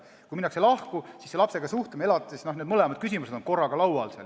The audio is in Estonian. Kui minna lahku, siis lapsega suhtlemine ja elatis – need mõlemad küsimused on korraga laual.